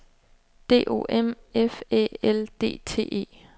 D O M F Æ L D T E